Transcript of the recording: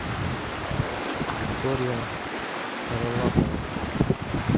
виктория шарлапова